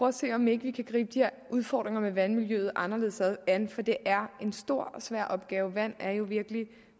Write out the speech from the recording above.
at se om ikke vi kan gribe de her udfordringer med vandmiljøet anderledes an for det er en stor og svær opgave vandet er der jo virkelig